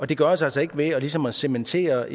det gøres altså ikke ved ligesom at cementere